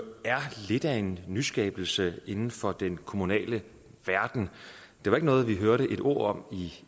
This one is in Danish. er lidt af en nyskabelse inden for den kommunale verden det var ikke noget vi hørte et ord om